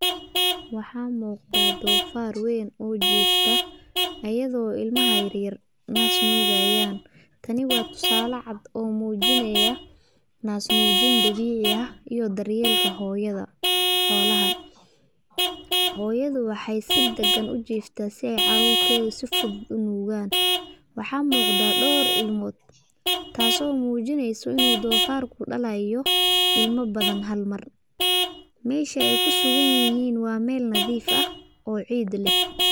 Waxaa muqadah donfar waan ojoftah, ayado ilamaha yar yar naas nugayin ayan taani wa tusa la cad oo mujinay naas nujintan dawica ah iyo daryanka hoyda hoola ah, hoyadu waxay si dagan ujiftah si ay carurtada si fudud u nugan, wax muqda dor ilmod, taaso mujinaysoh inu donfarka dalayo ilma badan hal mar masha ay ku suganyihin wa mal madif ah oo cid lah.